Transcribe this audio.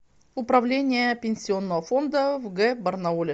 управление пенсионного фонда в г барнауле